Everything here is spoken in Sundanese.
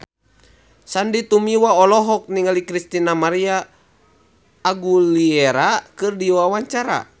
Sandy Tumiwa olohok ningali Christina María Aguilera keur diwawancara